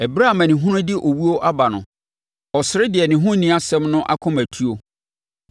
Ɛberɛ a amanehunu de owuo aba no, ɔsere deɛ ne ho nni asɛm no akomatuo.